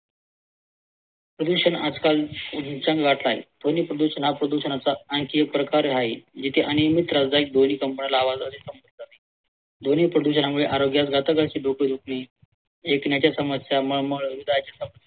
प्रदूषण आजकाल उच्चांक गाठला आहे ध्वनी प्रदूषण हा प्रदूषणाचा आणखी एक प्रकार आहे जिथे अनियमित त्रासदायक ध्वनी कंपनाला आवाजाने ध्वनी प्रदूषणामुळे आरोग्यास घातक अशी डोकं दुखणे ऐकणाच्या समस्या मळमळ